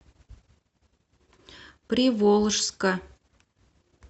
приволжска